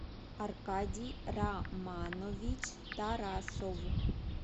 аркадий романович тарасов